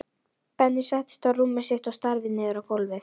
Benni settist á rúmið sitt og starði niður á gólfið.